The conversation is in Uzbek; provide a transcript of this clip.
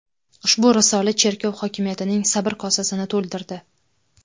Ushbu risola cherkov hokimiyatining sabr kosasini to‘ldirdi.